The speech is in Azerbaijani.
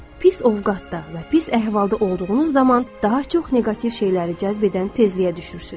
Pis ovqatda və pis əhvalda olduğunuz zaman daha çox neqativ şeyləri cəzb edən tezliyə düşürsüz.